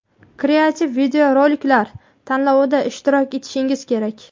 kreativ videoroliklar tanlovida ishtirok etishingiz kerak.